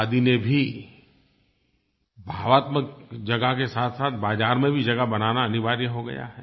खादी ने भी भावात्मक जगह के साथसाथ बाज़ार में भी जगह बनाना अनिवार्य हो गया है